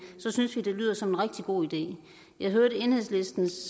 synes vi det lyder som en rigtig god idé jeg hørte enhedslistens